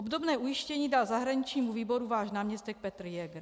Obdobné ujištění dal zahraničnímu výboru váš náměstek Petr Jäger.